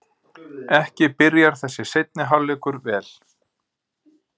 Ekki byrjar þessi seinni hálfleikur vel!